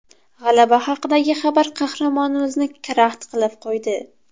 G‘alaba haqidagi xabar qahramonimizni karaxt qilib qo‘ydi.